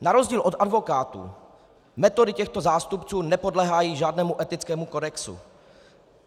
Na rozdíl od advokátů metody těchto zástupců nepodléhají žádnému etickému kodexu.